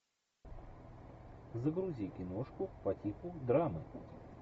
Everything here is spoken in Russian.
загрузи киношку по типу драмы